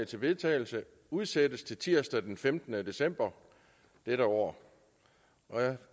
til vedtagelse udsættes til tirsdag den femtende december dette år